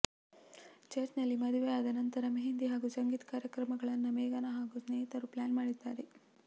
church ನಲ್ಲಿ ಮದುವೆ ಆದ ನಂತರ ಮೆಹಂದಿ ಹಾಗೂ ಸಂಗೀತ್ ಕಾರ್ಯಕ್ರಮಗಳನ್ನ ಮೇಘನಾ ಹಾಗೂ ಸ್ನೇಹಿತರು ಪ್ಲಾನ್ ಮಾಡಿದ್ದಾರೆ